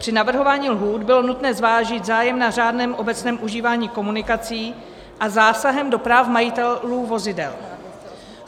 Při navrhování lhůt bylo nutné zvážit zájem na řádném obecném užívání komunikací a zásah do práv majitelů vozidel.